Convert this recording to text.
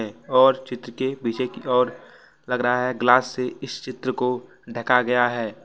और चित्र के पीछे की ओर लग रहा है ग्लास से इस चित्र को ढका गया है।